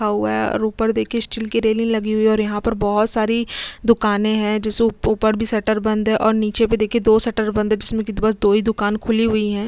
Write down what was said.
हुआ है और ऊपर दिखये स्टील की रैली हुई है और यहाँ पर बहोत सारी दुकाने है ऊपर भी शटर बंद है और नीच भी दो शटर बंद है जिसमे की बस दो ही दुकान खुली हुई है।